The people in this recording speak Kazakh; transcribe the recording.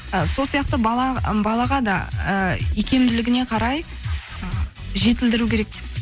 ы сол сияқты і балаға да ы икемділігіне қарай жетілдіру керек